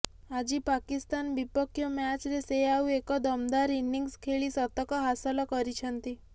ଆଜି ପାକିସ୍ତାନ ବିପକ୍ଷ ମ୍ୟାଚରେ ସେ ଆଉ ଏକ ଦମଦାର ଇନିଂସ୍ ଖେଳି ଶତକ ହାସଲ କରିଛନ୍ତି